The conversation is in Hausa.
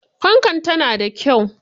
Fankar tana da kyau.